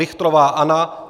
Richtrová Anna